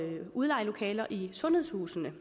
udleje lokaler i sundhedshusene